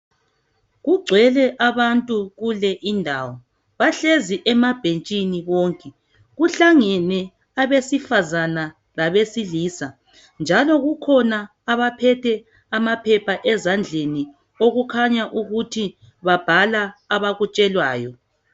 Kugcwele abantu kule indawo ,bahlezi emabhentshini bonke .Kuhlangene abesifazana labesilisa, njalo kukhona abaphethe amaphepha ezandleni okukhanya ukuthi babhala abakutshelwayo.